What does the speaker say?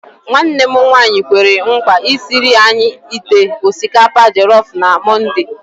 Nwanne m nwanyi kwere nkwa isiri anyị ite osikapa jelọf na mọnde.